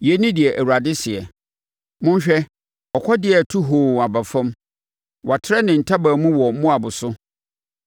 Yei ne deɛ Awurade seɛ: “Monhwɛ! Ɔkɔdeɛ reto hoo aba fam. Watrɛ ne ntaban mu wɔ Moab so.